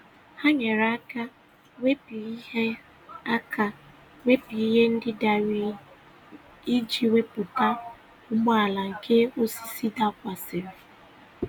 Ha nyere aka wepụ ihe aka wepụ ihe ndị dara iji wepụta ụgbọala nke osisi dakwasịrị.